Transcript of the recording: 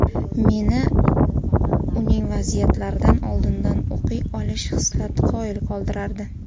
Meni uning vaziyatlarni oldindan o‘qiy olish xislati qoyil qoldirardi”.